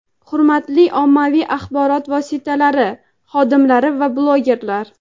Hurmatli ommaviy axborot vositalari xodimlari va blogerlar!.